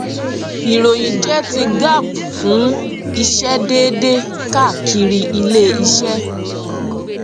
ìròyìn jẹ ti gaap fún ìṣe déédéé káàkiri iléiṣẹ